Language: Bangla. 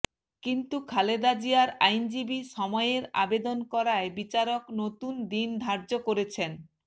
কিন্তু খালেদা জিয়ার আইনজীবী সময়ের আবেদন করায় বিচারক নতুন দিন ধার্য করেছেন